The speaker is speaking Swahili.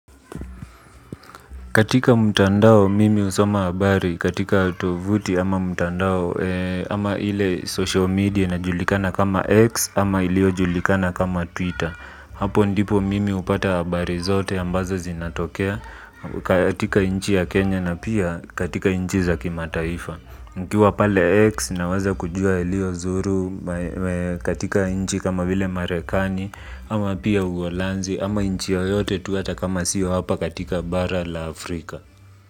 Katika mtandao mimi husoma habari katika tovuti ama mtandao, ama ile social media inajulikana kama X ama iliyojulikana kama twitter. Hapo ndipo mimi upata habari zote ambazo zinatokea katika inchi ya Kenya na pia katika nchi za kimataifa. Mkiwa pale X naweza kujua yalio zuru katika nchi kama vile Marekani ama pia Uholanzi ama nchi yoyote tu ata kama sio hapa katika bara la Afrika.